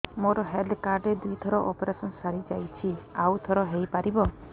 ମୋର health card ରେ ଦୁଇ ଥର ଅପେରସନ ସାରି ଯାଇଛି ଆଉ ଥର ହେଇପାରିବ